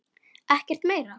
Ekkert meira?